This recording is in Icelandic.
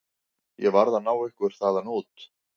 Ég varð að ná ykkur þaðan út.